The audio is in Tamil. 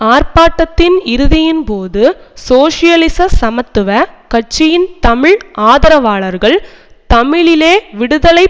ஆர்ப்பாட்டத்தின் இறுதியின்போது சோசியலிச சமத்துவ கட்சியின் தமிழ் ஆதரவாளர்கள் தமிழீழ விடுதலை